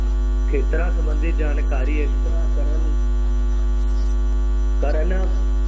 ਖੇਤਰਾਂ ਸੰਬੰਧੀ ਜਾਣਕਾਰੀ ਇਕੱਤਰ ਕਰਨ ਕਰਨ